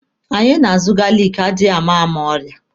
Anyị na-azụ galiki adịama ama ọrịa.